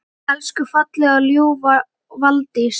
Elsku fallega og ljúfa Valdís!